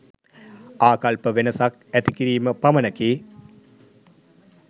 ආකල්ප වෙනසක් ඇති කිරීම පමණකි.